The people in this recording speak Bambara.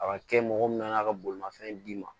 A ka kɛ mɔgɔ min nan'a ka bolimafɛn d'i ma